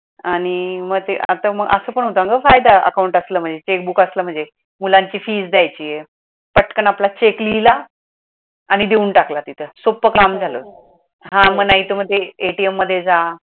आणि मग ते आता मग असं पण होतो न ग फायदा account असल म्हणजे checkbook असल म्हणजे मुलांची fees द्यायची आहे पटकन आपला check लिहिला आणि देऊन टाकला तिथ सोप्प काम झाल. हा मग नाही तर मग ते ATM मध्ये जा